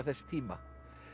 þess tíma